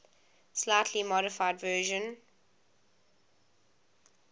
slightly modified version